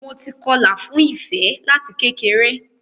Mo ti kọlà fún Ìfẹ láti kékeré.